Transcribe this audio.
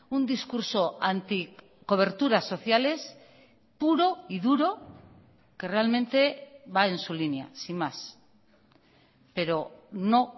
un discurso anticoberturas sociales puro y duro que realmente va en su línea sin más pero no